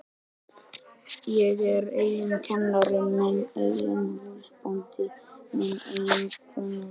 Ég er minn eigin kennari, minn eigin húsbóndi, minn eigin konungur.